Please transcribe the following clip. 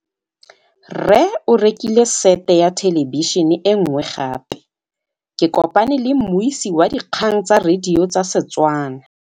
Rre o rekile sete ya thêlêbišênê e nngwe gape. Ke kopane mmuisi w dikgang tsa radio tsa Setswana.